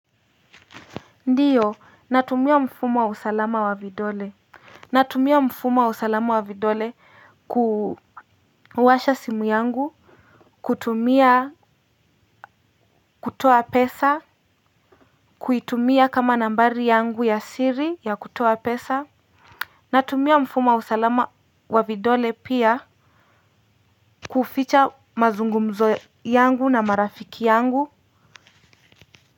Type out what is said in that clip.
Ndiyo natumia mfumo wa usalama wa vidole natumia mfumo wa usalama wa vidole ku washa simu yangu kutumia kutoa pesa kuitumia kama nambari yangu ya siri ya kutoa pesa natumia mfuma wa usalama wa vidole pia kuficha mazungumzo yangu na marafiki yangu.